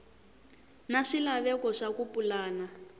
na swilaveko swa ku pulana